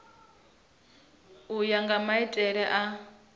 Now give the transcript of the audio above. u ya nga maitele a